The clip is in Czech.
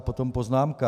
A potom poznámka.